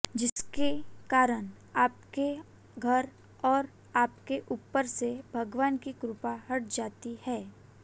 जिसके कारण आपके घर और आपके ऊपर से भगवान की कृपा हट जाती है